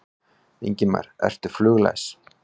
Ingimar: Ertu fluglæs?